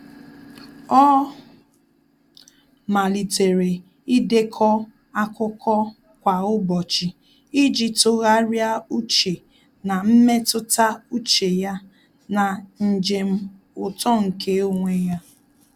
Ọ́ màlị́tèrè ídèkọ́ ákụ́kọ́ kwa ụ́bọ̀chị̀ iji tụ́gharị́a úchè na mmetụta úchè ya na njem uto nke onwe ya.